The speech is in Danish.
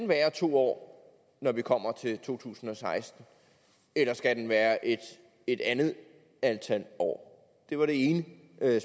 være to år når vi kommer til to tusind og seksten eller skal den være et et andet antal år det var det ene